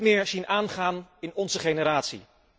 Wij zullen ze niet meer zien aangaan in onze generatie.